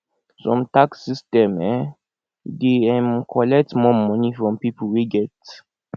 some tax system um dey um collect more money from pipo wey get